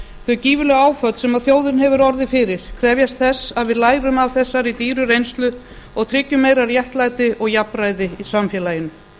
þau gífurlegu áföll sem þjóðin hefur orðið fyrir krefjast þess að við lærum af þessari dýru reynslu og tryggjum meira réttlæti og jafnræði í samfélaginu